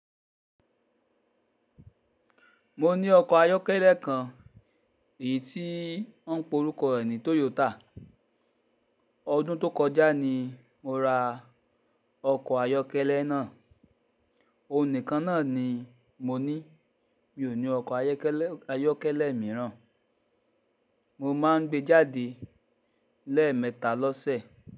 Mo ní ọkọ̀ ayọ́kẹ́lẹ́ kan, èyí tí wọ́n ń pe orúkọ rẹ̀ ní Toyota. Ọdún tó kọjá ni mo ra ọkọ̀ ayọ́kẹ́lẹ́ náà. Ònìkan náà ni mo ní, mi ò ní ọkọ̀ ayọ́kẹ́lẹ́, ayọ́kẹ́lẹ́ mìíràn. Mo máa ń gbé jáde lẹ́ẹ̀mẹta lọ́sẹ̀.